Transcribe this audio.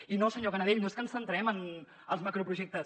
i no senyor canadell no és que ens centrem en els macroprojectes